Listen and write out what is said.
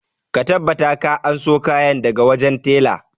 Ka tabbata ka anso kayana daga wajen tela!